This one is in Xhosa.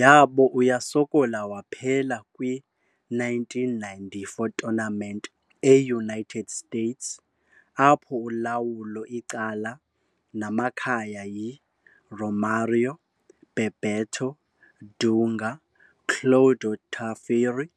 Yabo uyasokola waphela kwi - 1994 tournament e-United States, apho ulawulo icala namakhaya yi - Romário, Bebeto, Dunga, Cláudio Taffarel